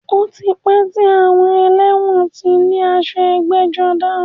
Ó ti pẹ́ tí àwọn ẹlẹ́wọ̀n ti ní aṣọ ẹgbẹ́-jọdá.